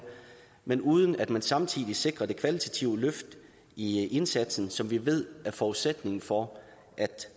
men uden at man samtidig sikrer det kvalitative løft i indsatsen som vi ved er forudsætningen for at